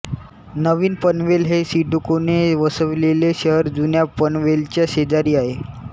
नवीन पनवेल हे सिडकोने वसविलेले शहर जुन्या पनवेलच्या शेजारी आहे